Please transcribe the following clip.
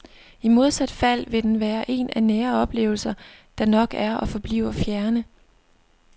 I modsat fald vil den være en af nære oplevelser, der nok er og forbliver fjerne.